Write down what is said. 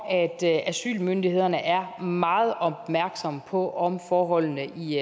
at asylmyndighederne er meget opmærksomme på om forholdene i